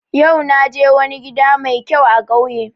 Yau na je wani gida mai kyau a kauye